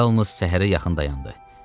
O yalnız səhərə yaxın dayandı.